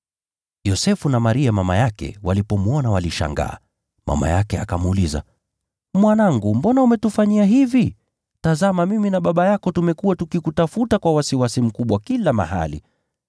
Yosefu na Maria mama yake walipomwona walishangaa. Mama yake akamuuliza, “Mwanangu, mbona umetufanyia hivi? Tazama, mimi na baba yako tumekuwa tukikutafuta kwa wasiwasi mkubwa kila mahali.”